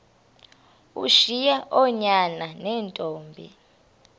ushiye oonyana neentombi